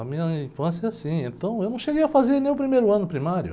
A minha infância é assim, então eu não cheguei a fazer nem o primeiro ano primário.